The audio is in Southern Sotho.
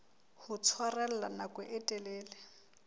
ho tshwarella nako e telele